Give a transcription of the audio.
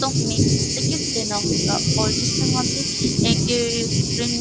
तो उसमे टिकट देना होगा और जिस तरह से एक ये ट्रेन --